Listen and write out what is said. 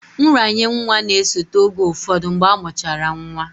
Nranye nwa na-esote oge ụfọdụ mgbe amụchara nwa